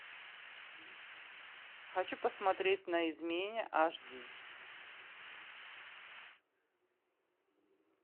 хочу посмотреть на измене аш ди